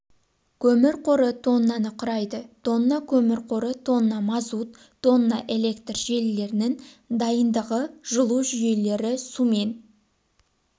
көмір қоры тоннаны құрайды тонна көмір қоры тонна мазут тонна электр желілерінің дайындығы жылу жүйелері сумен